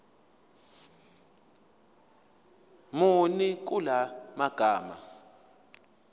muni kula magama